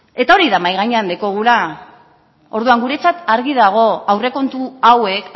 eta hori dela mahai gainean daukaguna orduan guretzat argi dago aurrekontu hauek